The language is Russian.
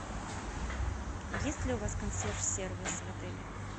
есть ли у вас консьерж сервис в отеле